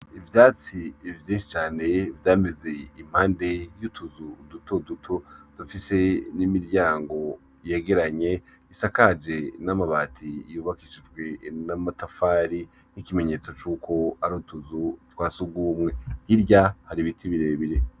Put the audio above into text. Ivyatsi vyinshi cane vyameze impande y'utuzuzu dutoduto dufise n'imiryango yegeranye isakaje n'amabati yubakishije n'amatafari, nk'ikimenyetso c'uko ar'utuzu twasugumwe hirya har'ibiti birebire.